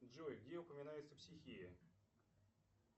джой где упоминается психия